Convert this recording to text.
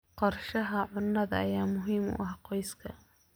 Qorshaha cunnada ayaa muhiim u ah qoyska.